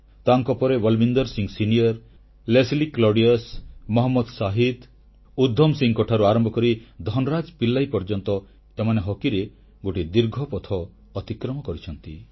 ତାଙ୍କ ପରେ ବଲୱିନ୍ଦର ସିଂ ସିନିୟର ଲେସ୍ଲି କ୍ଲାଉଡିୟସ୍ ମହମ୍ମଦ ଶାହିଦ୍ ଉଦ୍ଦାମ ସିଂଙ୍କଠାରୁ ଆରମ୍ଭ କରି ଧନରାଜ ପିଲ୍ଲାଇ ପର୍ଯ୍ୟନ୍ତ ଏମାନେ ହକିରେ ଗୋଟିଏ ଦୀର୍ଘ ପଥ ଅତିକ୍ରମ କରିଛନ୍ତି